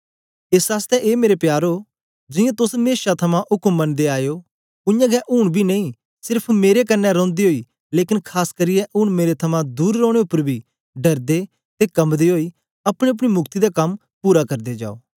एस आसतै ए मेरे प्यारो जियां तोस मेशा थमां उक्म मनदे आए ओ उयांगै ऊन बी नेई सेर्फ मेरे कन्ने रौंदे ओई लेकन खास करियै ऊन मेरे थमां दूर रौने उपर बी डरदे ते कम्बदे ओई अपनीअपनी मुक्ति दा कम पूरा करदे जाओ